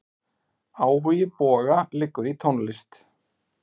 Áhugi Boga liggur í tónlist.